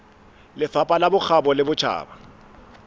lefapha la bokgabo le botjhaba